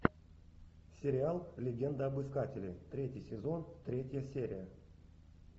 сериал легенда об искателе третий сезон третья серия